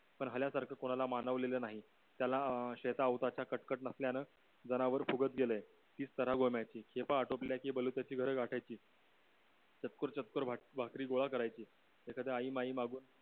पन्हाल्यासारखं कोणाला मानवलेलं नाही त्याला अं शेता उत्याचा कटकट नसल्यान जनावर फुगत गेलाय बोलू त्याची घर गाठायची चतकोर चतकोर भाकरी गोळा करायची एखादी आई माई मागून